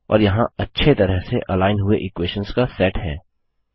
और यहाँ अच्छे तरह से अलाइन हुए इक्वेशंस का सेट है